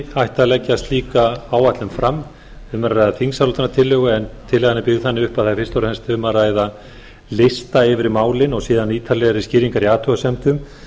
ætti að leggja slíka áætlun fram um er að ræða þingsályktunartillögu en tillagan er byggð þannig upp að það er fyrst og fremst um að hvað lista yfir málin og síðan ítarlegri skýringar í athugasemdum